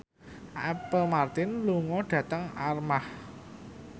Apple Martin lunga dhateng Armargh